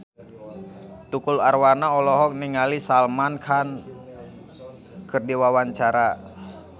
Tukul Arwana olohok ningali Salman Khan keur diwawancara